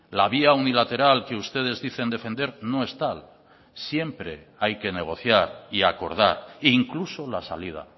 la vía unilateral que ustedes dicen defender no es tal siempre hay que negociar y acordar e incluso la salida